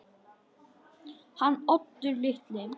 Hann Oddur litli?